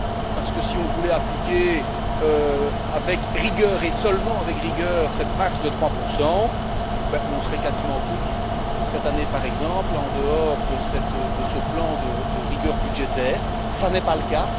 parce que si on voulait appliquer avec rigueur, et seulement avec rigueur, cette marge de 3 on serait quasiment tous, cette année par exemple, en dehors de ce plan de rigueur budgétaire, ce n'est pas le cas.